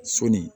Sɔni